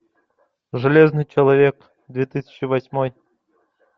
железный человек две тысячи восьмой